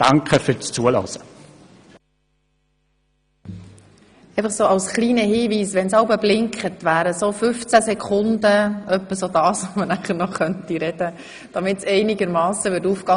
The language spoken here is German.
Als kleiner Hinweis: Wenn das Lämpchen am Rednerpult jeweils blinkt, hätten Sie etwa noch 15 Sekunden Zeit, um ihr Votum zu beenden, sodass es zeitlich einigermassen aufginge.